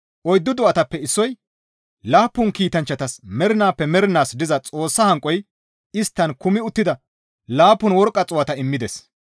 Oyddu do7atappe issoy laappun kiitanchchatas mernaappe mernaas diza Xoossa hanqoy isttan kumi uttida laappun worqqa xuu7ata immides.